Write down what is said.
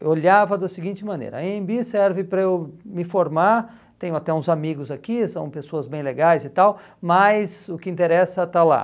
Eu olhava da seguinte maneira, a Anhembi serve para eu me formar, tenho até uns amigos aqui, são pessoas bem legais e tal, mas o que interessa está lá.